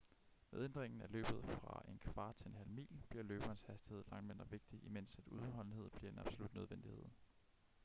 med ændringen af løbet fra en kvart til en halv mil bliver løberens hastighed langt mindre vigtig imens at udholdenhed bliver en absolut nødvendighed